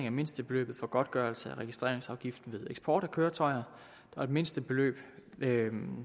af mindstebeløbet for godtgørelse af registreringsafgiften ved eksport af køretøjer mindstebeløbet